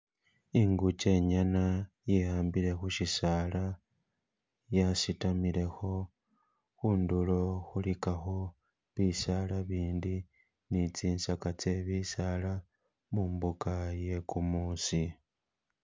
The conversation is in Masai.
Inguge ingana yihambile khushisaala yasitamilekho khundulo khuligakho bisaala ibindi ni tsisaga tse bisaala mumbuga iye gumuusi.